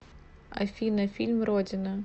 афина фильм родина